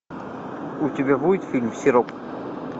у тебя будет фильм сироп